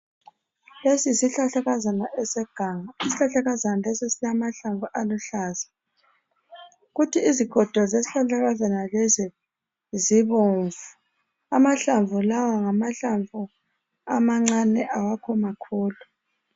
Lesi yisihlahlakazana seganga isihlahlakazana lesi silamahlamvu aluhlaza kuthi izigodo zesihlahlakazana lesi zibomvu amahlamvu lawa ngamahlamvu amancane awakho makhulu.